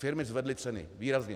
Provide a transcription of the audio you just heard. Firmy zvedly ceny, výrazně.